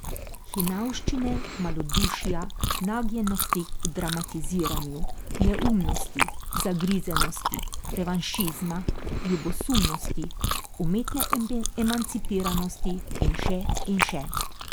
Hinavščine, malodušja, nagnjenosti k dramatiziranju, neumnosti, zagrizenosti, revanšizma, ljubosumnosti, umetne emancipiranosti in še in še.